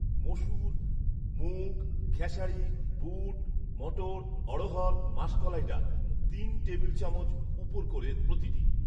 মসুর, মুগ, খেসারী, বুট, মটর, অঢ়হড়, মাসকলাই ডাল তিন টেবিল চামচ উপুড় করে প্রতিটি